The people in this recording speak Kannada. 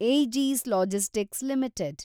ಏಜಿಸ್ ಲಾಜಿಸ್ಟಿಕ್ಸ್ ಲಿಮಿಟೆಡ್